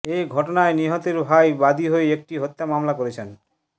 এ ঘটনায় নিহতের ভাই বাদী হয়ে একটি হত্যা মামলা করেছেন